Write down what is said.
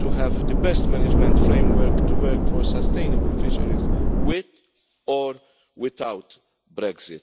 to have the best management framework to work for sustainable fisheries, with or without Brexit.